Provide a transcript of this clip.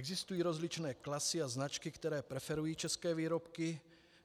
Existují rozličné klasy a značky, které preferují české výrobky,